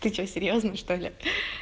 ты что серьёзно что ли